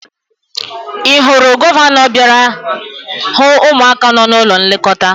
Ị hụrụ gọvanọ bịara hụ ụmụaka nọ n'ụlọ nlekọta?